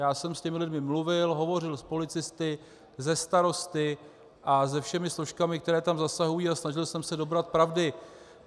Já jsem s těmi lidmi mluvil, hovořil s policisty, se starosty a se všemi složkami, které tam zasahují, a snažil jsem se dobrat pravdy.